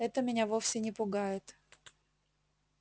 это меня вовсе не пугает